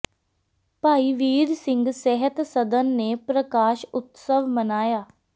ਭਾਈ ਵੀਰ ਸਿੰਘ ਸਾਹਿਤ ਸਦਨ ਨੇ ਪ੍ਰਕਾਸ਼ ਉਤਸਵ ਮਨਾਇਆ